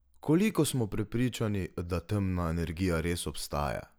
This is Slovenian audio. Koliko smo prepričani, da temna energija res obstaja?